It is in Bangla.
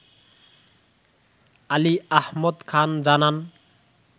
আলী আহমদ খান জানান